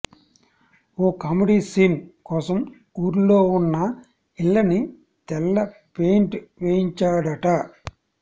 ఓ comedy scene కోసం ఊర్లోఉన్న ఇళ్లని తెల్ల పెయింట్ వేయించాడట